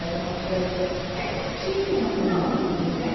Era uma coisa... É, não tinha muito, né?